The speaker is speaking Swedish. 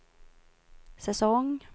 säsong